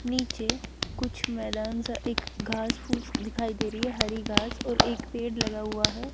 नीचे कुछ मैदान सा एक घास फूस दिखाई दे रही हैं हरी घास और एक पेड़ लगा हुआ है।